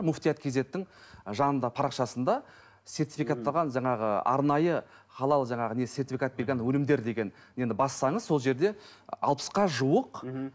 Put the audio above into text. муфтият кизеттің жанында парақшасында сертификатталған жаңағы арнайы халал жаңағы сертификат берген өнімдер деген енді бассаңыз сол жерде алпысқа жуық мхм